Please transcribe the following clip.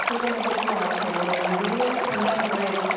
কুকুৰ মেকুৰী পোহা ৰ আগত ভাবিব লাগিব । মেকুৰী বা অন্য়ায় নকৰে একো ।